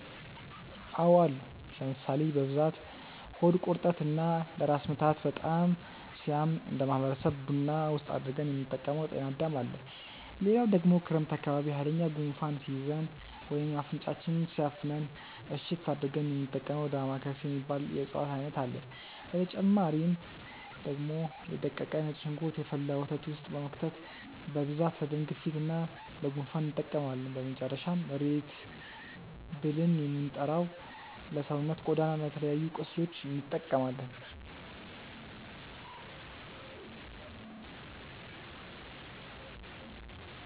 አዎ አሉ ለምሳሌ፦ በብዛት ሆድ ቁርጠት እና ለራስ ምታት በጣም ሲያም እነደ ማህበረሰብ ቡና ውስጥ አድርገን የምንጠቀመው ጤናዳም አለ፣ ሌላው ደግሞ ክረምት አካባቢ ሃይለኛ ጉንፋን ሲይዘን ወይም አፍንጫችንን ሲያፍነን እሽት አድርገን የሚንጠቀመው ዳማከሴ የሚባል የእፅዋት አይነት አለ፣ በተጨማሪ ደግሞ የ ደቀቀ ነጭ ሽንኩርት የፈላ ወተት ውስጥ በመክተት በብዛት ለደም ግፊት እና ለ ጉንፋን እንጠቀመዋለን፣ በመጨረሻም ሬት ብልን የምንጠራው ለሰውነት ቆዳ እና ለተለያዩ ቁስሎች እንጠቀማለን።